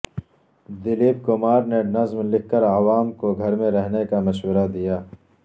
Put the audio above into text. دلیپ کمار نے نظم لکھ کر عوام کو گھر میں رہنے کا مشورہ دیا